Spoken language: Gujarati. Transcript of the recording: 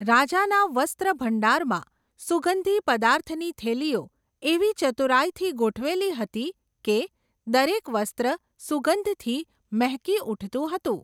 રાજાના વસ્ત્રભંડારમાં, સુગંધી પદાર્થની થેલીઓ, એવી ચતુરાઈથી ગોઠવેલી હતી, કે, દરેક વસ્ત્ર, સુગંધથી, મહેકી ઊઠતું હતું.